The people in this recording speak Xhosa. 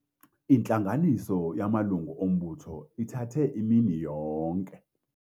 Intlanganiso yamalungu ombutho ithathe imini yonke.